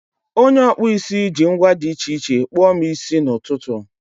onye ọkpụ isi ji ngwa dị iche iche kpụọ m isi n'ụtụtụ.